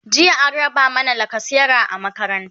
jiya an raba mana lacasera a makaranta